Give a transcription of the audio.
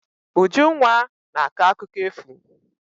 Ujunwa na-akọ akụkọ efu.